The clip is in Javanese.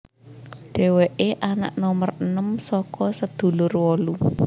Dheweke anak nomer enem saka sedulur wolu